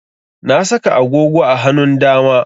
Na saka agogo a hanun dama